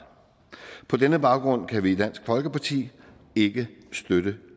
på denne baggrund kan vi dansk folkeparti ikke støtte